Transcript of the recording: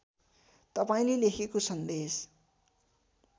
तपाईँले लेखेको सन्देश